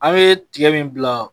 An ye tiga min bila